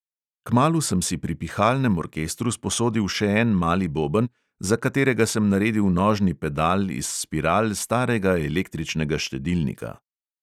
Kmalu sem si pri pihalnem orkestru sposodil še en mali boben, za katerega sem naredil nožni pedal iz spiral starega električnega štedilnika.